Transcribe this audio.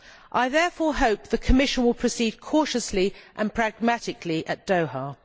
I therefore hope the Commission will proceed cautiously and pragmatically at Doha.